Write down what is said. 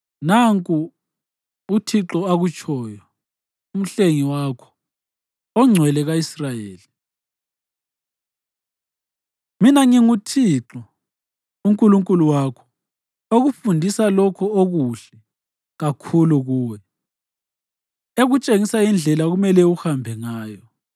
Nanku uThixo akutshoyo, uMhlengi wakho, oNgcwele ka-Israyeli: “Mina nginguThixo uNkulunkulu wakho, okufundisa lokho okuhle kakhulu kuwe, ekutshengisa indlela okumele uhambe ngayo.